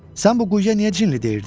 Sən bu quyuya niyə cinli deyirdin?